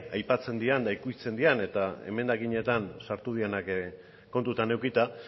aipatzen diren eta ukitzen diren eta emendakinetan sartu direnak kontutan edukita